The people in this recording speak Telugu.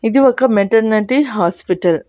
ఇది ఒక మెటర్నటి హాస్పిటల్ .